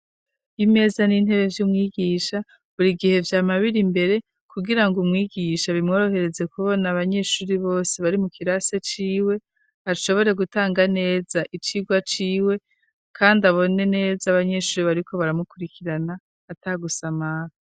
Imeza n'intebe vy'umwigisha buri gihe vyama biri imbere kugirango umwigisha bimworohereze kubona abanyeshure bose bari mu kirasi ciwe, ashobore gutanga neza icigwa ciwe, kandi abone neza abanyeshure bariko baramukurikirana ata gusamara.